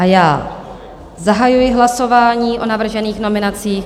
A já zahajuji hlasování o navržených nominacích.